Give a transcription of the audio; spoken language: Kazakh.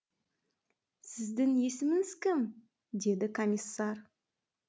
сіздің есіміңіз кім деді комиссар